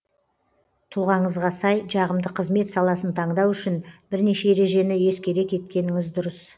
тұлғаңызға сай жағымды қызмет саласын таңдау үшін бірнеше ережені ескере кеткеніңіз дұрыс